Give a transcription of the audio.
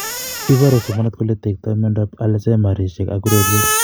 Iporu somanet kole tektoi miondap alzheimersishek ak ureriet